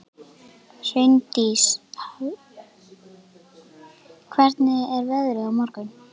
Hraundís, hvernig er veðrið á morgun?